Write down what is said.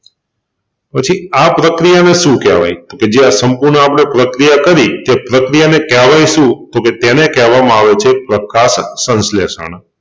પછી આ પ્રકિયાને શું કેહવાય તોકે જે આ સંપૂર્ણ આપણે પ્રક્રિયા કરી એ પ્રક્રિયાને કેહવાય શું? તોકે તેને કેહવામાં આવે છે પ્રકાશસંશ્લેષણ.